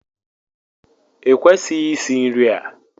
Ị kwesịghị isì nri a!